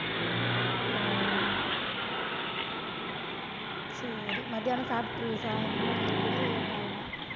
ஓ, சரி, மத்தியானம் சாப்பிட்டுரு~ இனிமேல் தான் சாப்பிடுவியா? இல்லை, late ஆகுமா